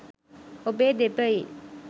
ඔබේ දෙපයින්